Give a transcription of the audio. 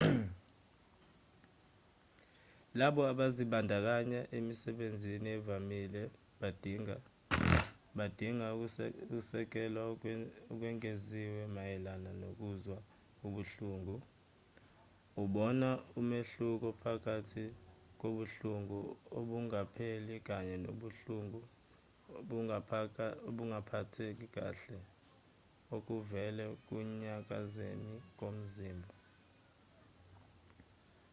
labo abazibandakanya emisebenzini evamile badinga ukusekelwa okwengeziwe mayelana nokuzwa ubuhlungu ubona umehluko phakathi kobuhlungu obungapheli kanye nokungaphatheki kahle okuvela ekunyakazeni komzimba